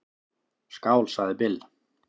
"""Skál, sagði Bill."""